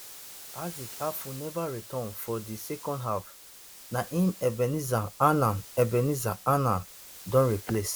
isaac afful neva return for di second half na im ebenezer annan ebenezer annan don replace